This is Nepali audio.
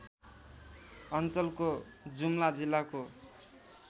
अञ्चलको जुम्ला जिल्लाको